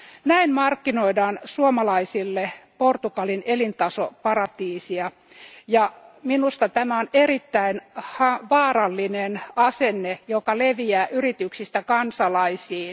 Näin markkinoidaan suomalaisille Portugalin elintasoparatiisia, ja minusta tämä on erittäin vaarallinen asenne, joka leviää yrityksistä kansalaisiin.